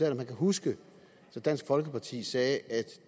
om han kan huske at dansk folkeparti sagde at